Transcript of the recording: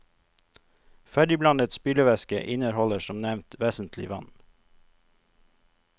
Ferdigblandet spylevæske inneholder som nevnt vesentlig vann.